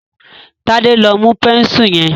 Tade lọ mú Bẹ́ńsù yen.